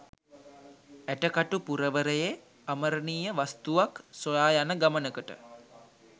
ඇටකටු පුරවරයේ අමරණිය වස්තුවක් සොයා යන ගමනකට